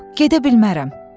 Yox, gedə bilmərəm.